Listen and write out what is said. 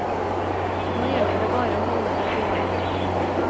Nå gjelder det bare å holde det gående.